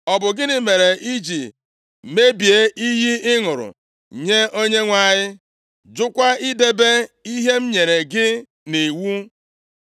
Ọ bụ gịnị mere i ji mebie iyi ị ṅụrụ nye Onyenwe anyị, jụkwa idebe ihe m nyere gị nʼiwu?”